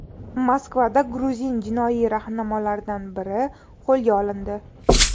Moskvada gruzin jinoiy rahnamolaridan biri qo‘lga olindi.